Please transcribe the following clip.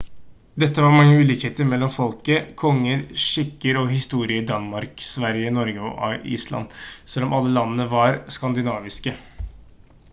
det var mange ulikheter mellom folket konger skikker og historie i danmark sverige norge og island selv om alle landene var «skandinaviske»